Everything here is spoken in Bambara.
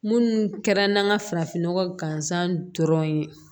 Munnu kɛra n ka farafin nɔgɔ gansan dɔrɔn ye